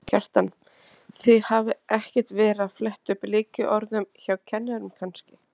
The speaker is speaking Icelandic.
Kjartan: Þið hafið ekkert verið að fletta upp lykilorðum hjá kennurum kannski?